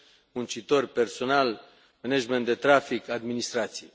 muncitori, personal, management de trafic, administrație.